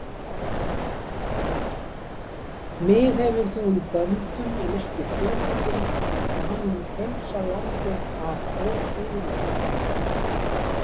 Mig hefur þú í böndum en ekki konunginn og hann mun hreinsa landið af óguðlegum.